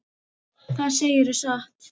Það segirðu satt.